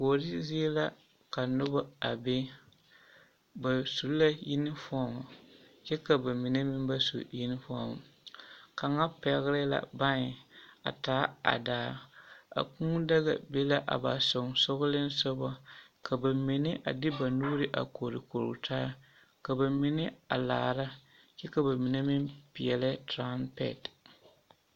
Kuori zie la ka noba a be ba su la yunifɔm kyɛ ka bamine meŋ ba su yunifɔm, kaŋa pɛgele la bãɛ a taa a daa, a kūū daga be la a ba sonsogelensogɔ ka bamine a de ba nuuri a korikori taa ka bamine a laara kyɛ ka bamine meŋ peɛlɛ turampɛte.